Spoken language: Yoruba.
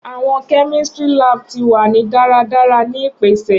Awọn kemistri lab ti wa ni daradara ni ipese